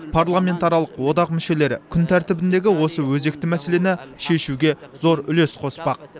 парламентаралық одақ мүшелері күн тәртібіндегі осы өзекті мәселені шешуге зор үлес қоспақ